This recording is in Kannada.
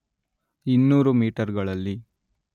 ಇನ್ನೂರು ಮೀಟರ್‌ಗಳಲ್ಲಿ